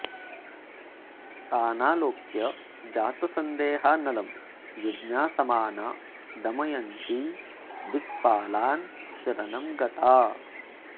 तानाऽलोक्य जातसंदेहा नलं जिज्ञासमाना दमयन्ती दिक्पालान् शरणं गता